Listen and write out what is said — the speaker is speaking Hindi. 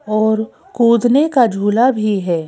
और कूदने का झूला भी है।